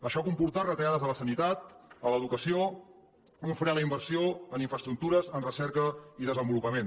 això ha comportat retallades a la sanitat a l’educació un fre a la inversió en infraestructures en recerca i desenvolupament